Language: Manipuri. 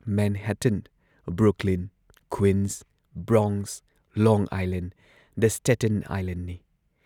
Manhattan, Brooklyn, Queens, Bronx, long island, the Staten ꯑꯥꯏꯂꯦꯟꯗꯅꯤ꯫